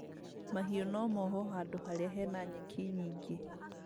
Mahiũ no mohwo handũ harĩa hena nyeki nyingĩ